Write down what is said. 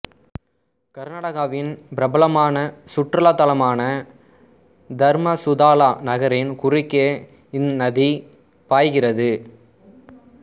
கர்நாடகாவின் பிரபலமான சுற்றுலாத்தலமான தர்மசுதாலா நகரின் குறுக்கே இந்நதி பாய்கிறது